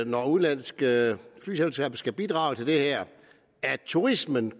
når udenlandske flyselskaber skal bidrage til det her at turismen